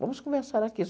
Vamos conversar aqui.